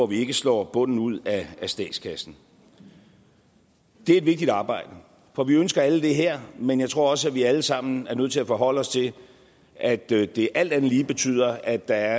vi ikke slår bunden ud af statskassen det er et vigtigt arbejde for vi ønsker alle det her men jeg tror også at vi alle sammen er nødt til at forholde os til at det det alt andet lige betyder at der